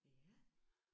Ja